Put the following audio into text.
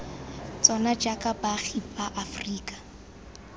tsona jaaka baagi ba aferika